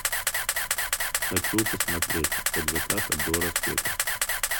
хочу посмотреть от заката до рассвета